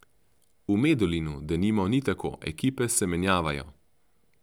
V Medulinu, denimo, ni tako, ekipe se menjavajo.